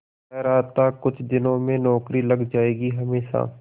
कह रहा था कुछ दिनों में नौकरी लग जाएगी हमेशा